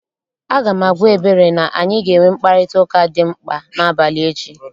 Aga m agwa Ebere na anyị ga-enwe mkparịtaụka dị mkpa n'abalị echi